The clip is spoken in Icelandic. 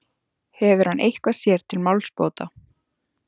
Hefur hann eitthvað sér til málsbóta?